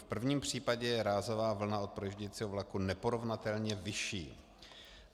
V prvním případě je rázová vlna od projíždějícího vlaku neporovnatelně vyšší.